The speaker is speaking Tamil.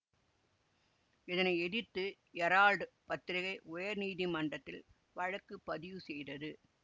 இதனை எதிர்த்து எரால்டு பத்திரிகை உயர் நீதிமன்றத்தில் வழக்கு பதிவு செய்தது